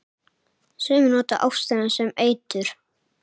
Sumir nota ástina sem eitur.